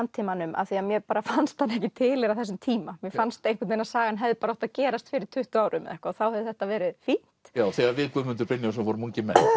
samtímanum af því mér bara fannst hann ekki tilheyra þessum tíma mér fannst að sagan hefði átt að gerast fyrir tuttugu árum þá hefði þetta verið fínt já þegar við Guðmundur Brynjólfsson vorum ungir menn